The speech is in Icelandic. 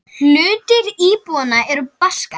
Hluti íbúanna er Baskar.